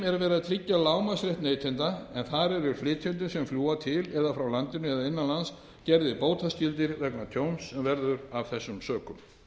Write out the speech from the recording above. að tryggja lágmarksrétt neytenda en þar eru flytjendur sem fljúga til eða frá landinu eða innan lands gerðir bótaskyldir vegna tjóns sem verður af þessu sökum